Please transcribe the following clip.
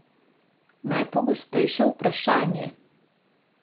Najpogostejše vprašanje.